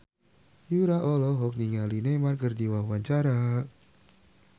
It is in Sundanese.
Yura olohok ningali Neymar keur diwawancara